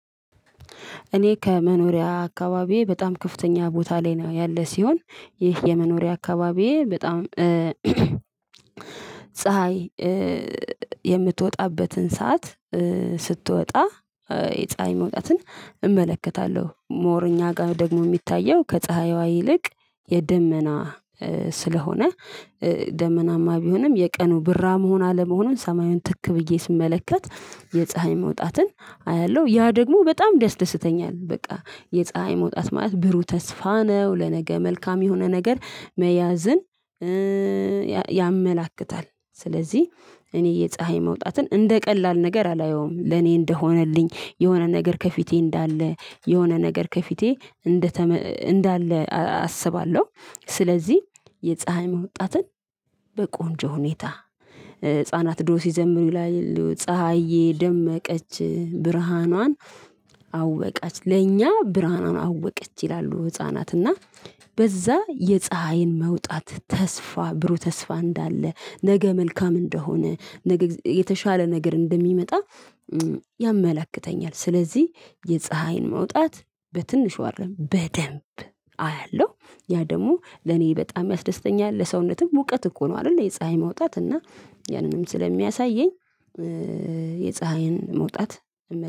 እኔ ከመኖሪያ አካባቢዬ በጣም ከፍተኛ ቦታ ላይ ነው ያለ ሲሆን ይህ የመኖሪያ አካባቢዬ በጣም ፀሀይ የምትወጣበትን ሰዓት ስትወጣ የፀሀይ መውጣትን እመለከታለሁ ሞር እኛ ጋር ደግሞ የሚታየው ከፀሀይዋ ይልቅ የደመና ስለሆነ ደመናማ ቢሆንም የቀኑ ብራ መሆን አለመሆኑን ሰማዩን ትክ ብዬ ስመለከት የፀሀይ መውጣትን አያለሁ ያ ደግሞ በጣም ያስደስተኛል። በቃ የፀሀይ መውጣት ማለት ብሩ ተስፋ ነው ለነገ መልካም የሆነ ነገር መያዝን ያመላክታል። ስለዚህ እኔ የፀሀይ መውጣትን እንደ ቀላል ነገር አላየውም ለኔ እንደሆነልኝ የሆነ ነገር ከፊቴ እንዳለ የሆነ ነገር ከፊቴ እንዳለ አስባለሁ። ስለዚህ የፀሀይ መውጣትን በቆንጆ ሁኔታ ህፃናት ድሮ ሲዘምሩ ላይ ፀሀዬ ደመቀች ብርሃኗን አወቀች ለእኛ ብርሃንን አወቀች ይላሉ። ህፃናት እና በዛ የፀሀይን መውጣት ተስፋ ብሩህ ተስፋ እንዳለ ነገ መልካም እንደሆነ ነገ የተሻለ ነገር እንደሚመጣ ያመላክተኛል። ስለዚህ የፀሀይን መውጣት በትንሽ አደለም በደንብ አያለሁ ያ ደግሞ ለኔ በጣም ያስደስተኛል። ለሰውነትም ሙቀት እኮ ነው አይደል የፀሀይ መውጣት እና ያንንም ስለሚያሳየኝ የፀሀይን መውጣት